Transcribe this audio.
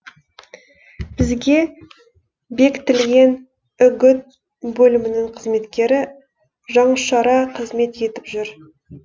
бізге бекітілген үгіт бөлімінің қызметкері жанұшыра қызмет етіп жүр